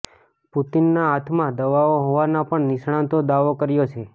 પુતિનના હાથમાં દવાઓ હોવાનો પણ નિષ્ણાતો દાવો કર્યો છે